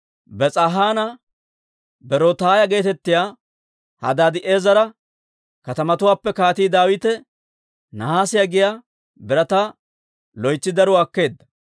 Bes'aahanne Berotaaya geetettiyaa Hadaadi'eezera katamatuwaappe Kaatii Daawite nahaasiyaa giyaa birataa loytsi daruwaa akkeedda.